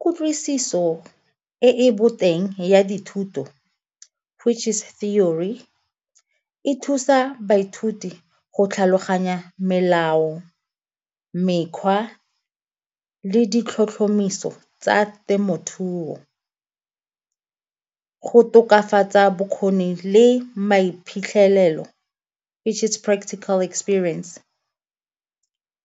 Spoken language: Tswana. Kutlwisiso e e boteng ya dithuto which is theory, e thusa baithuti go tlhaloganya melao mekgwa le di tlhotlhomiso tsa temothuo. Go tokafatsa bokgoni le maiphitlhelelo which is practical experience